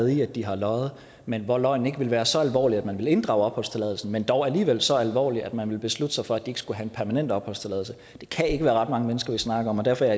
i at de har løjet men hvor løgnen ikke ville være så alvorlig at man ville inddrage opholdstilladelsen men dog alligevel så alvorlig at man vil beslutte sig for at de ikke skulle have en permanent opholdstilladelse det kan ikke være ret mange mennesker vi snakker om og derfor er